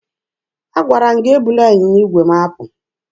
Agwara m gị ebula ịnyịnya igwe m apụ!